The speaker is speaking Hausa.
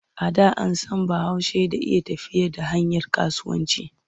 A da an san Bahaushe da iya tafiyar da harkar kasuwanci.